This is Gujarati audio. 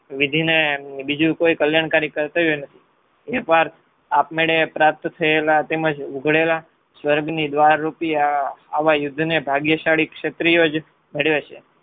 વિધિને બીજું કોઈ કલ્યાણકારી કર્તવ્ય નથી. એકવાર આપમેણે પ્રાપ્ત થયેલા તેમજ ઉઘડેલા સ્વર્ગની દ્વાર રૂપી આવા યુદ્ધને ભાગ્યશાળી ક્ષત્રિઓ જ ભેળવે છે.